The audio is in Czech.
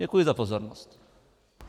Děkuji za pozornost.